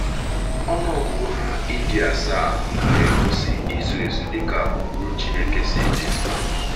Ọnụ ọgụgụ ha ịdị asaa na - egosi izu ezu dị ka ụkpụrụ Chineke si dị.